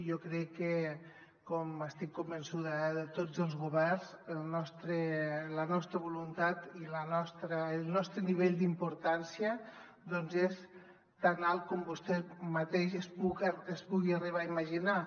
jo crec que com n’estic convençuda de tots els governs la nostra voluntat i el nostre nivell d’importància és tan alt com vostè mateix es pugui arribar a imaginar